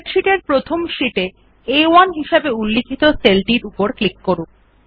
spreadsheet এর প্রথম sheet এ আ1 হিসাবে উল্লিখিত সেলউপর উপর ক্লিক করুন